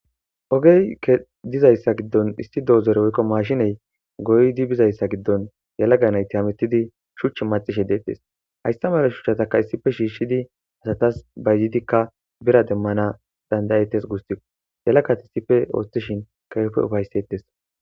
ogey ke dizayssa giddon issi doozere woykko maashiney goydi bizayssa giddon yalaganayti hametidi shuch macishe deettes hayssa mala shuchataka issife shiishshidi asatas bayzidikka bira demmana dandayetes guusti yalakat issife ooththishin kewepe ufaysettes